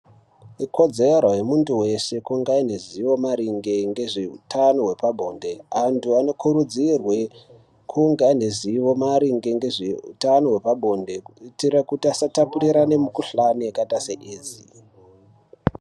Ikodzero yemuntu weshe kunge aineruzivo maringe nge nezveutano hwepabonde antu anokurudzirwe kunge anerizivo maringe ngezveutano hwepabonde kuitire kuti asatapurirane mikhuhlane yakaite seAIDS.